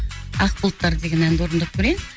ақ бұлттар деген әнді орындап көрейін